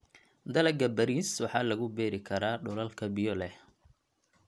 Dalagga bariis waxaa lagu beeri karaa dhulalka biyo leh.